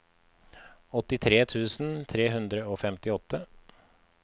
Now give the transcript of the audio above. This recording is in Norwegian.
åttitre tusen tre hundre og femtiåtte